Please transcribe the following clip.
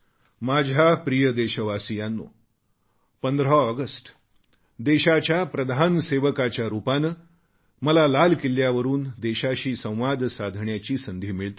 माझ्या प्रिय देशवासीयांनो 15 ऑगस्ट देशाच्या प्रधान सेवकाच्या रूपाने मला लाल किल्ल्यावरून देशाशी संवाद साधण्याची संधी मिळते